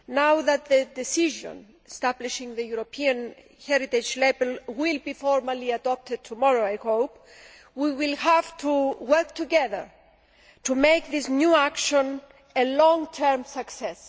As the decision establishing the European Heritage Label will, I hope, be formally adopted tomorrow, we will have to work together to make this new action a long term success.